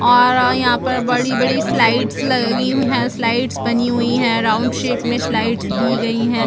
और यहाँ पर बड़ी - बड़ी स्लाइडस लगी हुई है स्लाइडस बनी हुई है राउंड शैप मे स्लाइडस दी गई है।